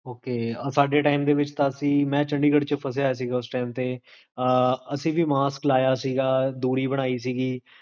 okay ਸਾਡੇ time ਦੇ ਵਿੱਚ ਤਾ ਅਸੀ, ਮੈਂ ਚੰਡੀਗੜ੍ਹ ਚ ਫਸਿਆ ਹੋਇਆ ਸੀ, ਓਸ time ਤੇ, ਅਸੀ ਵੀ ਮਾਸਕ ਲਾਇਆ ਸੀਗਾ, ਤੂੜੀ ਬਣਾਈ ਸੀਗੀ